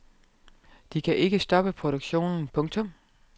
De kan ikke stoppe produktionen. punktum